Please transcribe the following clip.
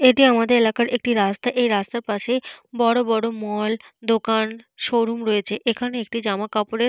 এটি আমাদের এলাকার একটি রাস্তা। এই রাস্তার পাশে বড় বড় মল দোকান শোরুম রয়েছে। এখানে একটি জামা কাপড়ের।